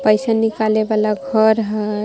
पैसा निकाले वाला घर हय।